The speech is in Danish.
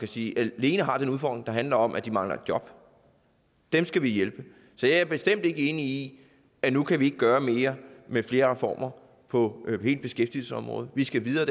sige alene har den udfordring der handler om at de mangler et job dem skal vi hjælpe så jeg er bestemt ikke enig i at nu kan vi ikke gøre mere med flere reformer på beskæftigelsesområdet vi skal videre